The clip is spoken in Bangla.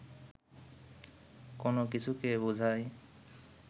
কো্নো কিছুকে বোঝায়